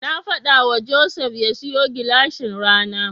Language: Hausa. Na faɗawa Joseph ya siyo gilashin rana.